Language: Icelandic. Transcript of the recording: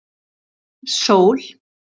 Sól